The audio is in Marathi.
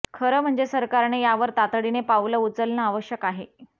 खरं म्हणजे सरकारने यावर तातडीने पावलं उचलणं आवश्यक आहे